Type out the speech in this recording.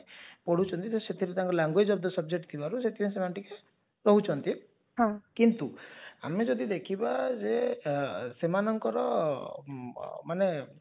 ପଢୁଛନ୍ତି ତ ସେଥିରେ ତାଙ୍କ language of the subject ଥିବାରୁ ସେଥିପାଇଁ ସେମାନେ ଟିକେ କିନ୍ତୁ ଆମେ ଯଦି ଦେଖିବା ସେମାନଙ୍କର ମାନେ